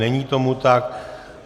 Není tomu tak.